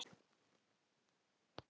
Ekki höfðu þeir beðið um stríðið.